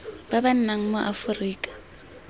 ba ba nnang mo aforika